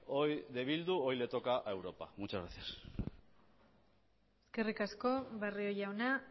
hoy de bildu hoy le toca a europa muchas gracias eskerrik asko barrio jauna